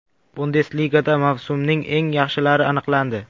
Bundesligada mavsumning eng yaxshilari aniqlandi.